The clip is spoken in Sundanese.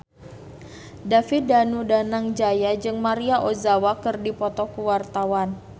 David Danu Danangjaya jeung Maria Ozawa keur dipoto ku wartawan